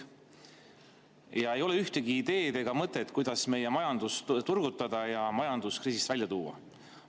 Ja ei ole ühtegi ideed ega mõtet, kuidas meie majandust turgutada ja majandus kriisist välja tuua.